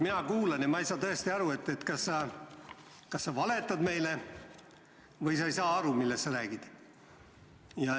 Mina kuulan ja ma ei saa tõesti aru, kas sa valetad meile või sa ei saa aru, millest sa räägid.